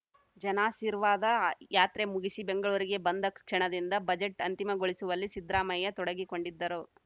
ಜನಾಸಿರ್ವಾದ ಯಾತ್ರೆ ಮುಗಿಸಿ ಬೆಂಗಳೂರಿಗೆ ಬಂದ ಕ್ಷಣದಿಂದ ಬಜೆಟ್‌ ಅಂತಿಮಗೊಳಿಸುವಲ್ಲಿ ಸಿದ್ದರಾಮಯ್ಯ ತೊಡಗಿಕೊಂಡಿದ್ದರು